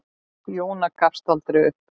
Jóna gafst aldrei upp.